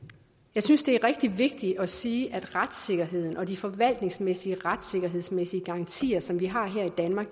jeg synes det er rigtig vigtigt at sige at retssikkerheden og de forvaltningsmæssige og retssikkerhedsmæssige garantier som vi har her i danmark